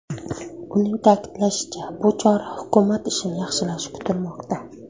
Uning ta’kidlashicha, bu chora hukumat ishini yaxshilashi kutilmoqda.